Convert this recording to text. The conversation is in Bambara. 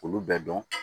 Olu bɛɛ dɔn